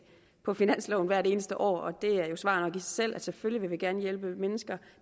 på finansloven hvert eneste år det er jo svar nok i sig selv selvfølgelig vil vi gerne hjælpe mennesker